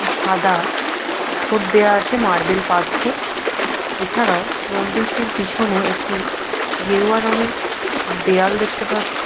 সাদা পাথর দেওয়া আছে মার্বেল পাথর। এছাড়াও মন্দিরটির পিছনে একটি গেরুয়া রঙের দেয়াল দেখতে পাচ্ছি।